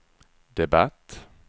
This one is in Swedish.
debatt